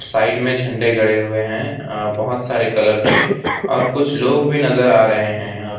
side में झंडे गड़े हुए है अ बहोत सारे कलर के और कुछ लोग भी नजर आ रहे है यहां पे--